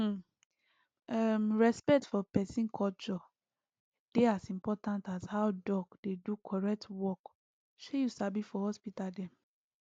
hmmm um respect for peson culture dey as important as how doc dey do correct work shey you sabi for hospital dem